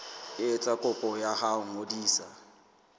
etsa kopo ya ho ngodisa